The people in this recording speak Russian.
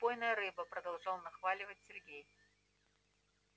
убойная рыба продолжал нахваливать сергей